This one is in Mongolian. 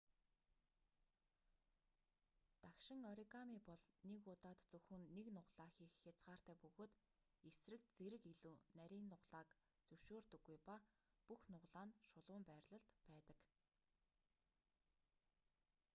дагшин оригами бол нэг удаад зөвхөн нэг нугалаа хийх хязгаартай бөгөөд эсрэг зэрэг илүү нарийн нугалааг зөвшөөрдөггүй ба бүх нугалаа нь шулуун байрлалд байдаг